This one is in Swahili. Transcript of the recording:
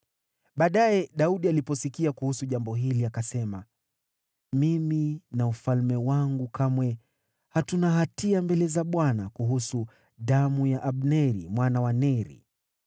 Baadaye, Daudi aliposikia kuhusu jambo hili, akasema, “Mimi na ufalme wangu kamwe hatuna hatia mbele za Bwana kuhusu damu ya Abneri mwana wa Neri.